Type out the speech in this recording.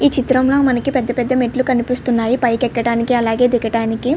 ఈ చిత్రం లో మనకి ఇక్కడ పెద్ద పెద్ద మెట్లు కనిపిస్తునాయి. పైకి ఎక్కడానికి అలాగే దిగడానికి.